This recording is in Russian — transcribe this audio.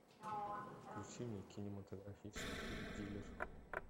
включи мне кинематографический фильм дилер